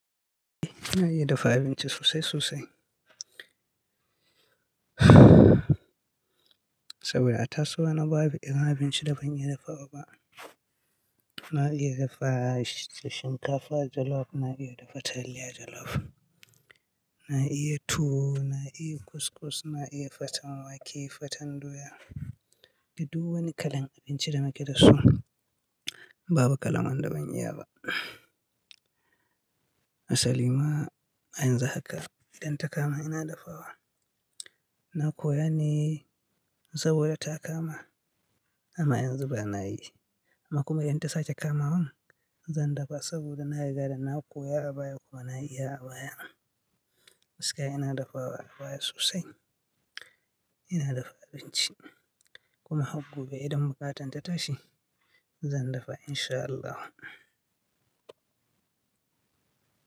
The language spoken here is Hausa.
Eh, na iya dafa abinci sosai sosai. Saboda a tasowana babu irin abinci da ban iya dafawa ba. Na iya dafa shinkafa jollof, na iya dafa taliya jollof, na iya tuwo, na iya kuskus, na iya faten wake, faten doya. Duddu wani kalan abinci da nake da su, babu kalan wanda ban iya ba. Asali ma a yanzun haka idan ta kama ina dafawa, na koya ne, saboda ta kama amma yanzu ba na yi. Amma kuma idan ta sake kama wan, zan dafa saboda na riga da na koya abaya kuma na iya abayan. Gaskiya ina dafawa abaya sosai, ina dafa abinci, kuma har gobe idan buƙatan ta tashi zan dafa in sha Allah.